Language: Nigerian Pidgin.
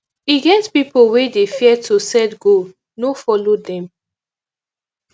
e get pipo wey dey fear to set goal no folo dem